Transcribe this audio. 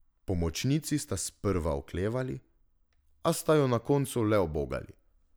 Pomočnici sta sprva oklevali, a sta jo na koncu le ubogali.